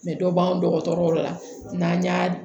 dɔ b'an dɔgɔtɔrɔ yɔrɔ la n'an y'a